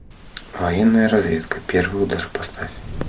военная разведка первый удар поставь